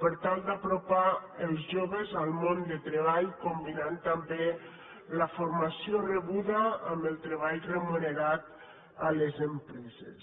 per tal d’apropar els joves al món del treball combinant també la formació rebuda amb el treball remunerat a les empreses